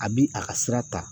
A bi a ka sira ta